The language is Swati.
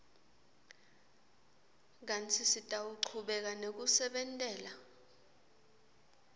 kantsi sitawuchubeka nekusebentela